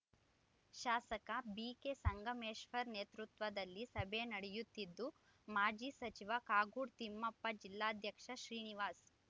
ಶಾಸಕ ಬಿಕೆ ಸಂಗಮೇಶ್ವರ್‌ ನೇತೃತ್ವದಲ್ಲಿ ಸಭೆ ನಡೆಯುತ್ತಿದ್ದು ಮಾಜಿ ಸಚಿವ ಕಾಗೋಡು ತಿಮ್ಮಪ್ಪ ಜಿಲ್ಲಾಧ್ಯಕ್ಷ ಶ್ರೀನಿವಾಸ್‌